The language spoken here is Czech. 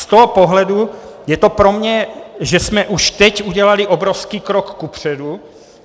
Z toho pohledu je to pro mě, že jsme už teď udělali obrovský krok kupředu.